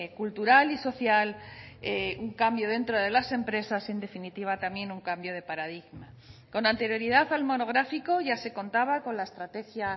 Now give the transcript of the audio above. cultural y social un cambio dentro de las empresas en definitiva también un cambio de paradigma con anterioridad al monográfico ya se contaba con la estrategia